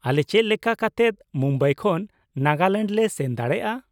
ᱟᱞᱮ ᱪᱮᱫ ᱞᱮᱠᱟ ᱠᱟᱛᱮᱫ ᱢᱩᱢᱵᱟᱭ ᱠᱷᱚᱱ ᱱᱟᱜᱟᱞᱮᱱᱰ ᱞᱮ ᱥᱮᱱ ᱫᱟᱲᱮᱭᱟᱜᱼᱟ ?